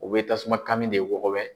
U bɛ tasuma kanmi de wɔgɔbɛ.